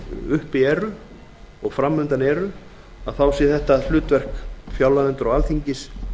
uppi eru og fram undan eru sé þetta hlutverk fjárlaganefndar og alþingis